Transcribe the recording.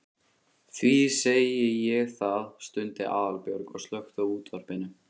Því segi ég það. stundi Aðalbjörg og slökkti á útvarpinu.